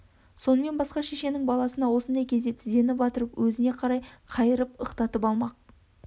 сонымен басқа шешенің баласына осыңдай кезде тізені батырып өзіне қарай қайырып ықтатып алмақ